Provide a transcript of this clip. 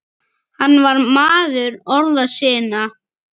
Hann var maður orða sinna.